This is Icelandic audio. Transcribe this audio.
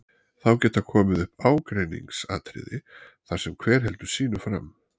Þá geta komið upp ágreiningsatriði þar sem hver heldur sínu fram.